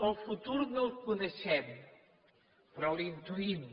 el futur no el coneixem però l’intuïm